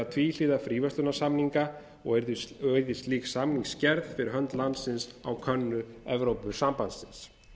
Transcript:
tvíhliða fríverslunarsamninga og yrðu slík samningagerð fyrir landsins hönd á könnu evrópusambandsins